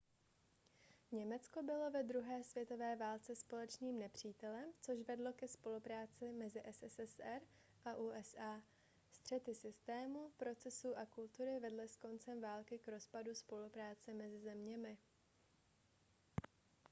německo bylo ve druhé světové válce společným nepřítelem což vedlo ke spolupráci mezi sssr a usa střety systému procesů a kultury vedly s koncem války k rozpadu spolupráce mezi zeměmi